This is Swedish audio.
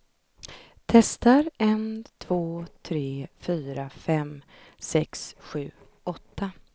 Testar en två tre fyra fem sex sju åtta.